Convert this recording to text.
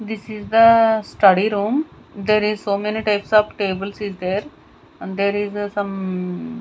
this is the study room there is so many types of tables is there and there is a some--